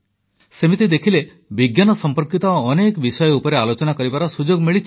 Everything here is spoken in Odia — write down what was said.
ସେମିତି ଦେଖିଲେ ବିଜ୍ଞାନ ସମ୍ପର୍କିତ ଅନେକ ବିଷୟ ଉପରେ ଆଲୋଚନା କରିବାର ସୁଯୋଗ ମିଳିଛି